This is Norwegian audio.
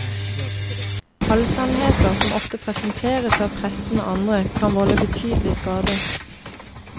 Halvsannheter, som ofte presenteres av pressen og andre, kan volde betydelig skade.